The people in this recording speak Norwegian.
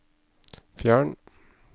fjern